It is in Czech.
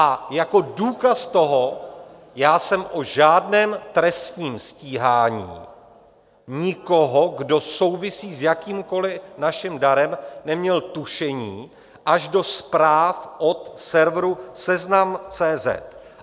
A jako důkaz toho, já jsem o žádném trestním stíhání nikoho, kdo souvisí s jakýmkoli naším darem, neměl tušení až do zpráv od serveru seznam.cz.